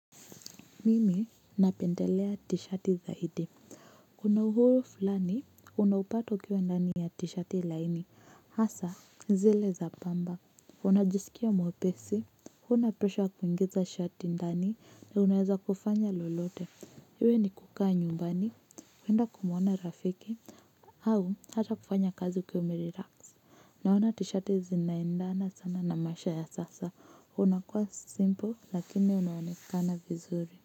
Mimi napendelea t-shati zaidi. Kuna uhuru fulani, unao upata ukiwa ndani ya t-shati laini, hasa zile za pamba. Unajisikia mwepesi, huna presha kuingiza shati ndani, na unaweza kufanya lolote. Iwe ni kukaa nyumbani, kwenda kumwona rafiki, au hata kufanya kazi ukiwa umerelax. Naona t-shati zinaendana sana na maisha ya sasa. Unakuwa simple lakini unaonekana vizuri.